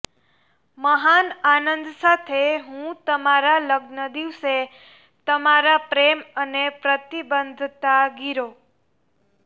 મહાન આનંદ સાથે હું અમારા લગ્ન દિવસે તમારા પ્રેમ અને પ્રતિબદ્ધતા ગીરો